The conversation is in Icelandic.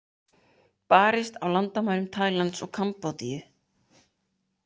Barist á landamærum Tælands og Kambódíu